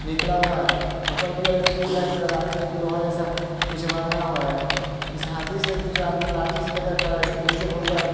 निकला हुआ है ऊपर की ओर एक पुल है तथा राइट में एक लोहा जैसा कुछ बना हुआ है इस हाथी से कुछ आदमी लाठी से लेकर खड़ा इसके नीचे बहुत सारा--